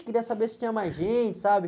Queria saber se tinha mais gente, sabe?